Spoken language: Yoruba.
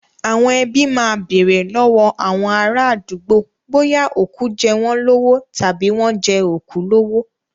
Àwọn ẹbí máa bèrè lọ́wọ́ àwọn ará àdúgbò bóyá òkú jẹ́ wọ́n lówó tàbí wọ́n jẹ òkú lówó.